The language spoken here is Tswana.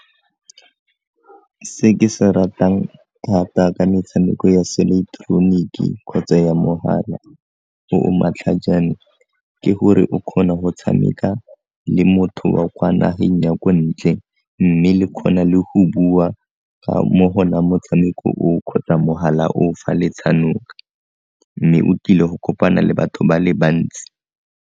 Se ke se ratang thata ka metshameko ya seileteroniki kgotsa ya mogala o o matlhajane ke gore o kgona go tshameka le motho wa kwa nageng ya ko ntle mme le kgona le go bua ka mo gona motshameko o o kgotsa mogala o o fa le tshanoka mme o tile go kopana le batho ba le bantsi.